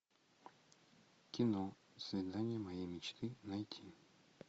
кино свидание моей мечты найти